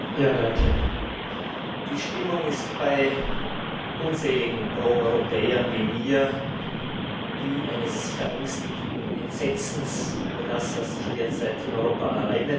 Herr Präsident! Die Stimmung ist bei unzähligen Proeuropäern wie mir die eines verängstigten Entsetzens über das, was sich derzeit in Europa ereignet.